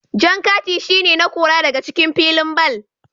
Jan kati shi ne na Kora daga cikin filin ball.